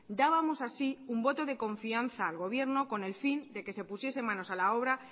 dábamos así un voto de confianza al gobierno con el fin de que se pusiese manos a la obra